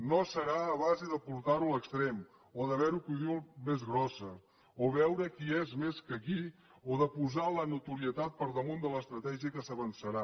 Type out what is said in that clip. no serà a base de portar ho a l’extrem o de veure qui la diu més grossa o veure qui és més que qui o de posar la notorietat per damunt de l’estratègia que s’avançarà